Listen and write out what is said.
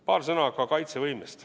Paar sõna ka kaitsevõimest.